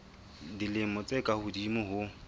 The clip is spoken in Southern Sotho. dilemo tse ka hodimo ho